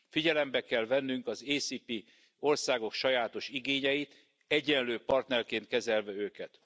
Figyelembe kell vennünk az AKCS országok sajátos igényeit, egyenlő partnerként kezelve őket.